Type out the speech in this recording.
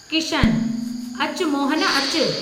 किशनः अचु, मोहन अचु।